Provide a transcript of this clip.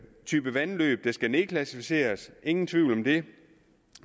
type vandløb der skal nedklassificeres ingen tvivl om det